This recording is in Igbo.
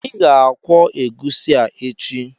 Ị ga-akwọ egusi a echi!